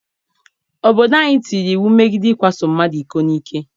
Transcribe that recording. Obodo anyị tinyere iwu megide ikwaso mmadụ iko n'ike.